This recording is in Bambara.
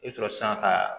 I bɛ sɔrɔ sisan ka